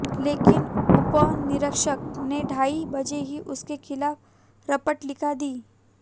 लेकिन उपनिरीक्षक ने ढाई बजे ही उसके खिलाफ रपट लिखा दी